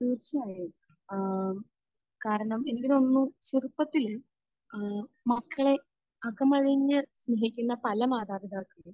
തീർച്ചയായും. ഏഹ് കാരണം ഇവരൊന്നും ചെറുപ്പത്തിൽ ഏഹ് മക്കളെ അകമഴിഞ്ഞ് സ്നേഹിക്കുന്ന പല മാതാപിതാക്കളും